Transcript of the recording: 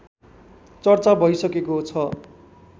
चर्चा भइसकेको छ